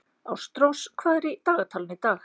Ástrós, hvað er í dagatalinu í dag?